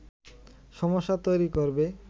সমস্যা তৈরি করবে